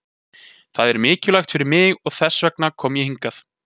Það er mikilvægt fyrir mig og þess vegna kom ég hingað.